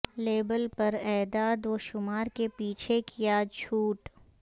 label پر اعداد و شمار کے پیچھے کیا جھوٹ